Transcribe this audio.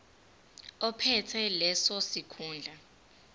ophethe leso sikhundla